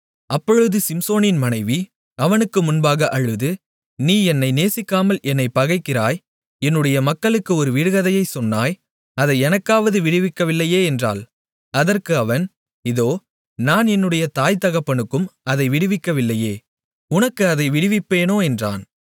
அப்பொழுது சிம்சோனின் மனைவி அவனுக்கு முன்பாக அழுது நீ என்னை நேசிக்காமல் என்னைப் பகைக்கிறாய் என்னுடைய மக்களுக்கு ஒரு விடுகதையைச் சொன்னாய் அதை எனக்காவது விடுவிக்கவில்லையே என்றாள் அதற்கு அவன் இதோ நான் என்னுடைய தாய்தகப்பனுக்கும் அதை விடுவிக்கவில்லையே உனக்கு அதை விடுவிப்பேனோ என்றான்